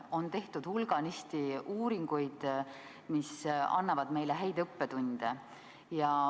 On tehtud hulganisti uuringuid, mis annavad meile häid õppetunde.